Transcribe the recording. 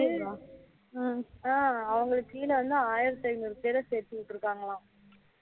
ஹம் அவங்களுக்கு கீழ வந்து ஆயிரத்து ஐந்நூறு பேர சேர்த்து விட்டுருக்காங்கலாம்